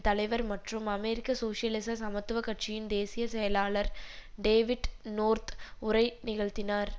தலைவர் மற்றும் அமெரிக்க சோசியலிச சமத்துவ கட்சியின் தேசிய செயலாளர் டேவிட் நோர்த் உரை நிகழ்த்தினார்